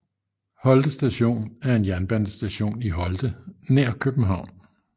Holte Station er en jernbanestation i Holte nær København